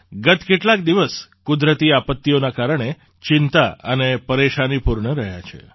ગત કેટલાક દિવસ કુદરતી આપત્તિઓના કારણે ચિંતા અને પરેશાનીપૂર્ણ રહ્યા છે